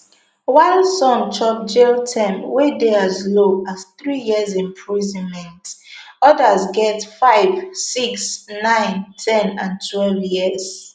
while some chop jailterm wey dey as low as three years imprisonment odas get five six nine ten and twelve years